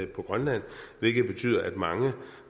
grønland hvilket betyder at mange